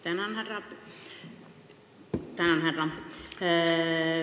Tänan, härra esimees!